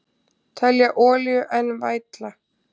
Telja olíu enn vætla